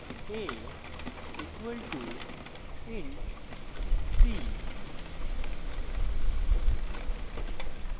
a equal to int c